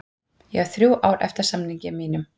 Ég á þrjú ár eftir af samningi mínum.